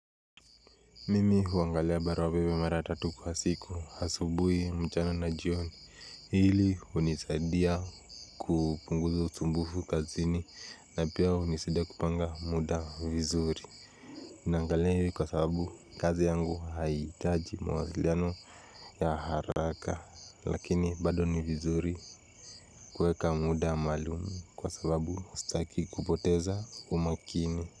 Mimi huangalia barua pepe mara tatu kwa siku asubuhi, mchana na jioni Hili hunisaidia kupunguza usumbufu kazini na pia hunisidia kupanga muda vizuri naangalia hivi kwa sababu kazi yangu haitaji mawasiliano ya haraka lakini bado ni vizuri kuweka muda maalumu kwa sababu staki kupoteza umakini.